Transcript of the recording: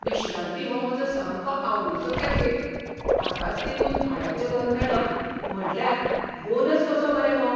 विश्रांती हो म्हजो सामको आवडिचो कॅफे. ताकाच तेंकून भाड्याचें घर मेळप म्हटल्यार बोनस कसो मरे हो!